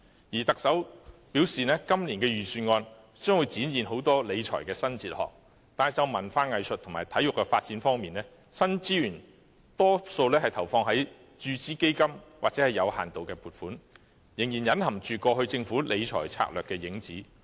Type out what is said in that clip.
再者，特首雖然表示今年的預算案將展現很多新的理財哲學，但就文化藝術及體育發展方面，新資源大多用於注資基金或作有限度的撥款，仍然隱含過去政府理財策略的影子。